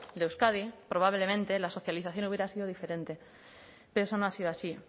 de euskadi probablemente la socialización hubiera sido diferente pero eso no ha sido así